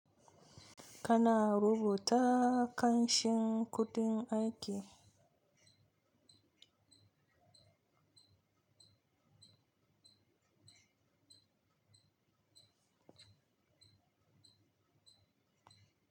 Kana rubuta ƙanshin kuɗin aiki?